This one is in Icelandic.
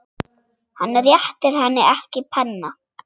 Hann réttir henni ekki penna.